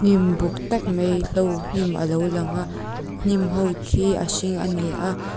hnim buk tak mai hlo hnim alo lang a hnim ho khi a hring ani a.